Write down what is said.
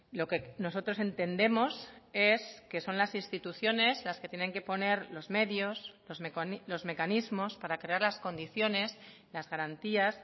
lo que nosotros entendemos es que son las instituciones las que tienen que poner los medios los mecanismos para crear las condiciones las garantías